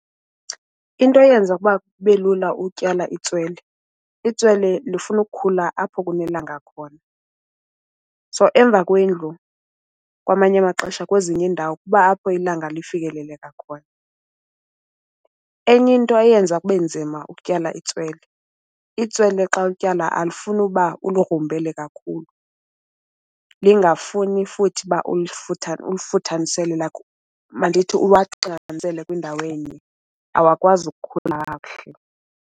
Into eyenza ukuba kube lula utyala itswele, itswele lifuna ukukhula apho kunelanga khona. So, emva kwendlu kwamanye amaxesha kwezinye iindawo kuba apho ilanga lifikeleleka khona. Enye into eyenza kube nzima ukutyala itswele, itswele xa ulityala alifuni uba uligrumbele kakhulu, lingafuni futhi uba ulifuthamisele like mandithi uwaxinanisele kwindawo enye. Awakwazi ukukhula kakuhle.